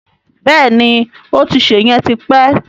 Bẹ́ẹ̀ni, ó ti ṣè yẹn ti pẹ́